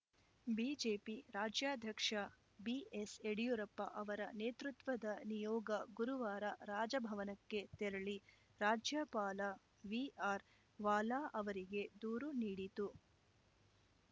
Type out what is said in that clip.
BJP ರಾಜ್ಯಾಧ್ಯಕ್ಷ ಬಿಎಸ್‌ಯಡಿಯೂರಪ್ಪ ಅವರ ನೇತೃತ್ವದ ನಿಯೋಗ ಗುರುವಾರ ರಾಜಭವನಕ್ಕೆ ತೆರಳಿ ರಾಜ್ಯಪಾಲ ವಿಆರ್‌ವಾಲಾ ಅವರಿಗೆ ದೂರು ನೀಡಿತು